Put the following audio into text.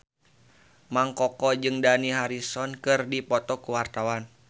Mang Koko jeung Dani Harrison keur dipoto ku wartawan